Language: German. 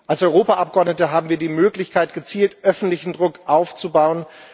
Als Europaabgeordnete haben wir die Möglichkeit, gezielt öffentlichen Druck aufzubauen.